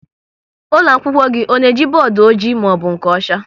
Ụlọakwụkwọ gị ọ na-eji bọọdụ ọjị maọbụ nke ọcha?